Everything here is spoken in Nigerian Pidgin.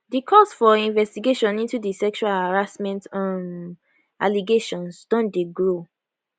di calls for investigation into di sexual harassment um allegations don dey grow